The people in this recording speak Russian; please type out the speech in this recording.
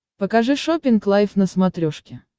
покажи шоппинг лайф на смотрешке